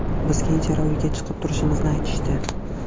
Bizga ijara uyiga chiqib turishimizni aytishdi.